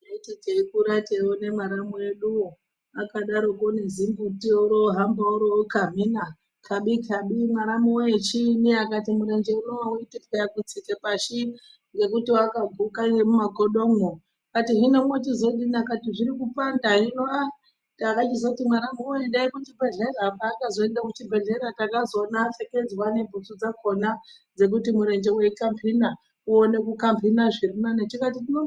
Taiti teikura tione mwaramu eduwo akadaro nezimbuti orohamba orokamhina khabi khabi mwaramu woye chii akati murenje unowu auiti kutsika pashi ngekuti wakaguka nemumakodomwo hino mwochizodini akati zvirikupanda hino ahh takachizoti mwaramu woye endai kuchibhehlera pakazoende kuchibhehlera takazoona apfekedzwa nebhutsu dzakhona dzekuti murenje weikamhina uone kamhina zviri nani tikati tino.